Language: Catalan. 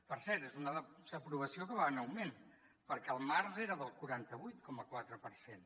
per cert és una desaprovació que va en augment perquè al març era del quaranta vuit coma quatre per cent